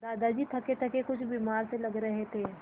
दादाजी थकेथके कुछ बीमार से लग रहे थे